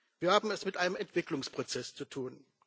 Wir haben es mit einem Entwicklungsprozess zu tun.